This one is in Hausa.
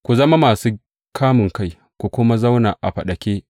Ku zama masu kamunkai, ku kuma zauna a faɗake.